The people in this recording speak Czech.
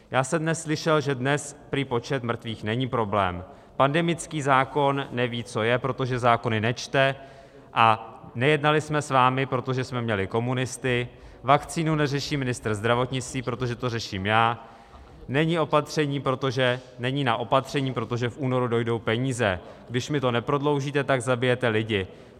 Já jsem dnes slyšel, že dnes prý počet mrtvých není problém, pandemický zákon neví, co je, protože zákony nečte, a nejednali jsme s vámi, protože jsme měli komunisty, vakcínu neřeší ministr zdravotnictví, protože to řeším já, není na opatření, protože v únoru dojdou peníze, když mi to neprodloužíte, tak zabijete lidi.